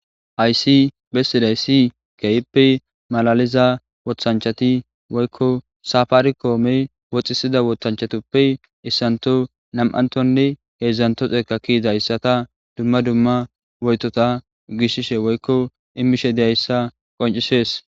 Hayssi bessizayssi keehippe malaliza woththanchati woykko safarikome oothisiza woththanchatuppe issantho, nam'anththonne heedzdzanththo xekka ke'izayssata dumma dumma woytota gishishe woykko immishe dizayssa qonccisees.